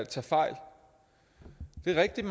tage fejl det er rigtigt